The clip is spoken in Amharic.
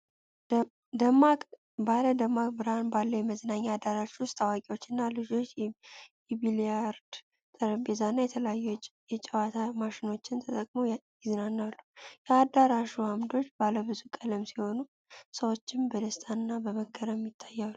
ባለ ደማቅ ብርሃን ባለው የመዝናኛ አዳራሽ ውስጥ አዋቂዎችና ልጆች የቢሊያርድስ ጠረጴዛና የተለያዩ የጨዋታ ማሽኖችን ተጠቅመው ይዝናናሉ። የአዳራሹ ዓምዶች ባለብዙ ቀለም ሲሆኑ፣ ሰዎችም በደስታና በመገረም ይታያሉ።